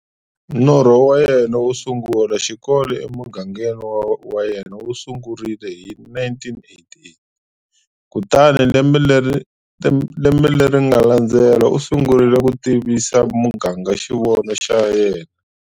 Norho wa yena wo sungula xikolo emugangeni wa yena wu sungurile hi 1988, kutani lembe leri nga landzela, u sungurile ku tivisa muganga xivono xa yena.